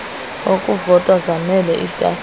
okuvota zaanele iitafile